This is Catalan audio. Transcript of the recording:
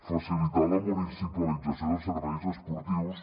facilitar la municipalització dels serveis esportius